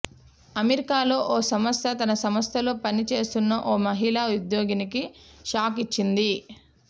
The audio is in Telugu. అమెరికాలో ఓ సంస్థ తన సంస్థలో పని చేస్తున్న ఓ మహిళా ఉద్యోగినికి షాక్ ఇచ్చింది